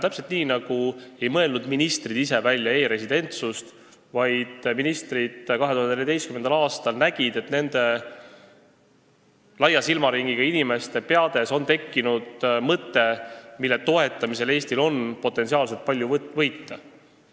Täpselt nii, nagu ei mõelnud ministrid ise välja e-residentsust, vaid ministrid 2014. aastal nägid, et laia silmaringiga inimeste peades on tekkinud mõte, mille toetamise korral oleks Eestil potentsiaalselt palju võita.